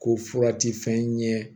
Ko fura ti fɛn ɲɛ